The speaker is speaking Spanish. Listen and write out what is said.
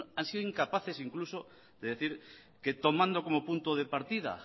han sido incapaces incluso de decir que tomando como punto de partida